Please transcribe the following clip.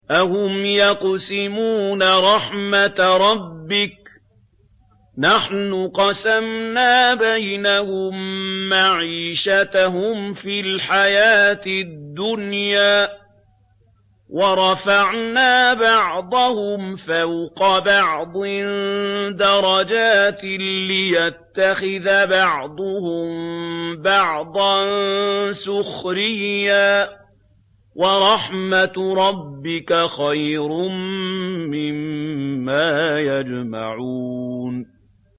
أَهُمْ يَقْسِمُونَ رَحْمَتَ رَبِّكَ ۚ نَحْنُ قَسَمْنَا بَيْنَهُم مَّعِيشَتَهُمْ فِي الْحَيَاةِ الدُّنْيَا ۚ وَرَفَعْنَا بَعْضَهُمْ فَوْقَ بَعْضٍ دَرَجَاتٍ لِّيَتَّخِذَ بَعْضُهُم بَعْضًا سُخْرِيًّا ۗ وَرَحْمَتُ رَبِّكَ خَيْرٌ مِّمَّا يَجْمَعُونَ